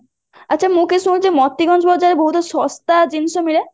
ଆଚ୍ଛା ମୁଁ କଇଁ ଶୁଣୁଛି ମତେ କାଇ ଶୁଣାଯାଏ ବହୁତ ଶସ୍ତା ଜିନିଷ ମିଳେ